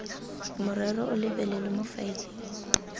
morero o lebelelwe mo faeleng